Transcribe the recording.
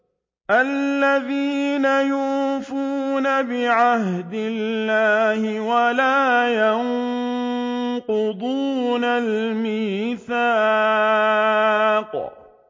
الَّذِينَ يُوفُونَ بِعَهْدِ اللَّهِ وَلَا يَنقُضُونَ الْمِيثَاقَ